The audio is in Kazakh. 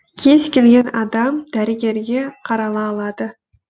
кез келген адам дәрігерге қарала алады